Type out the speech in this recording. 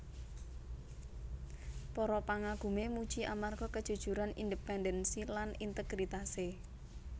Para pangagumé muji amarga kejujuran independensi lan integritasé